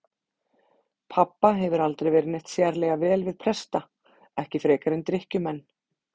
Pabba hefur aldrei verið neitt sérlega vel við presta, ekki frekar en drykkjumenn.